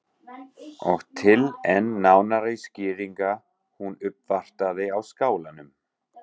Og til enn nánari skýringar að hún uppvartaði á Skálanum.